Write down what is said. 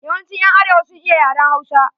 Yawancin ƴan arewa sun iya yaren Hausa.